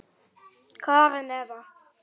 Karen Eva.